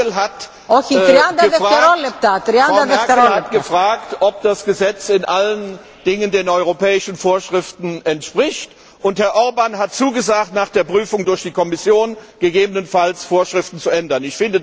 Frau Merkel hat gefragt, ob das Gesetz in allen Dingen den europäischen Vorschriften entspricht, und Herr Orbán hat zugesagt, nach der Prüfung durch die Kommission gegebenenfalls Vorschriften zu ändern.